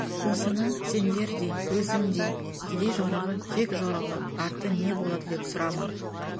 осыны сендердей өзімдей кедей жорығы кек жорығы арты не болады деп сұрама